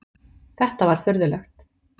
Þetta var furðulegt.